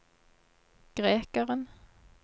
grekeren